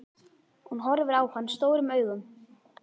Hún horfir á hann stórum augum.